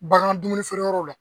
Bagan dumuni feereyɔrɔ la